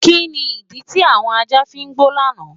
Kíni ídí ti awọn ajá fí n gbọ lánà?